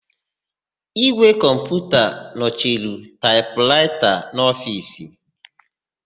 Ígwè kọmputa nọchiri taịpraịta n'ofiisi.